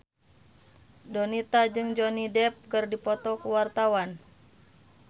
Donita jeung Johnny Depp keur dipoto ku wartawan